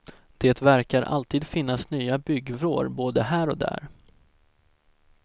Det verkar alltid finnas nya byggvrår både här och där.